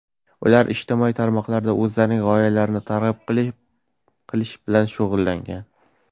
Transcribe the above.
Ular ijtimoiy tarmoqlarda o‘zlarining g‘oyalarini targ‘ib qilish bilan shug‘ullangan.